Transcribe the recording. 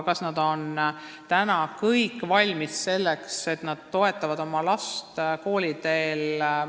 Kas nad on täna kõik valmis selleks, et oma last kooliteel toetada?